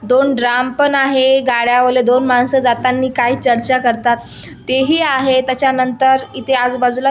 दोन ड्राम पण आहे गाडयावरले दोन माणसं जातांनी काही चर्चा करतात तेही आहे त्याच्यानंतर इथे आजू-बाजूला--